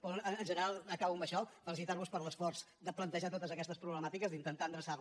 però en general acabo amb això felicitar vos per l’esforç de plantejar totes aquestes problemàtiques d’intentar endreçar les